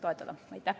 Aitäh!